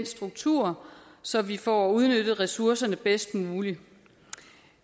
struktur så vi får udnyttet ressourcerne bedst muligt